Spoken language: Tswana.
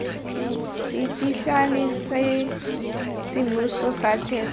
seteišene sa semmuso sa teko